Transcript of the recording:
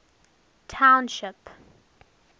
township